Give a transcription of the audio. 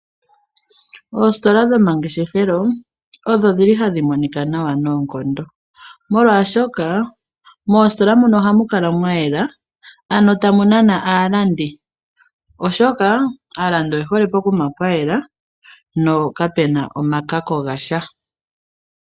Oositola dhomangeshefelo odho dhili hadhimonika nawa noonkondo molwashoka moositola muno ohamukala mwayela ano tamunana aalandi oshoka aalandi oye hole pokuma pwayela no kapena omakako gasha.